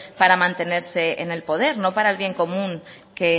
para mantenerse en el poder no para el bien común que